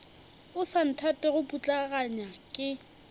o sa nthatego putlaganya ke